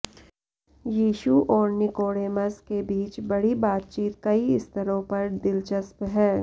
यीशु और निकोडेमस के बीच बड़ी बातचीत कई स्तरों पर दिलचस्प है